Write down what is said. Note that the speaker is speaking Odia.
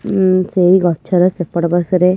ଉଁ ସେଇ ଗଛ ର ସେପଟ ପାର୍ଶ୍ଵ ରେ ଏକ ଇଲେ--